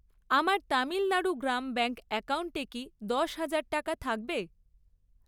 আমার তামিলণাড়ু গ্রাম ব্যাঙ্ক অ্যাকাউন্টে কি দশ হাজার টাকা থাকবে?